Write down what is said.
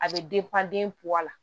A bɛ la